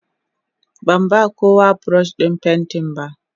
Ban ba kowa buroshin fenti ba.